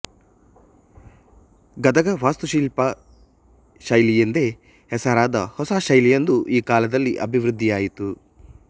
ಗದಗ ವಾಸ್ತುಶಿಲ್ಪ ಶೈಲಿ ಎಂದೇ ಹೆಸರಾದ ಹೊಸ ಶೈಲಿಯೊಂದು ಈ ಕಾಲದಲ್ಲಿ ಅಭಿವೃದ್ಧಿಯಾಯಿತು